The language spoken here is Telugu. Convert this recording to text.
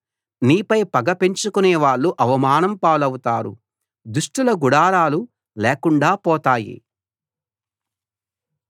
నీపై పగ పెంచుకునే వాళ్ళు అవమానం పాలవుతారు దుష్టుల గుడారాలు లేకుండా పోతాయి